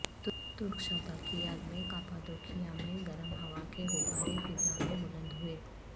ترک شہدا کی یاد میں کاپادوکیا میں گرم ہوا کے غبارے فضا میں بلند ہوئے